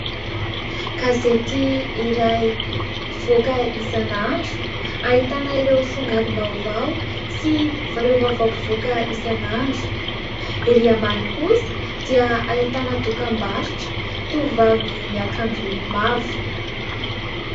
Gazety iray mpivoaka izan'andro, ahitana ireo songadim-baovao sy ireo vaovao mpivoaka isan'andro. Erỳ ambany kosa dia ahitana dokam-barotra, tovovavy miakanjo mavo.